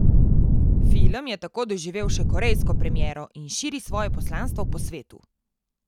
Film je tako doživel še korejsko premiero in širi svoje poslanstvo po svetu.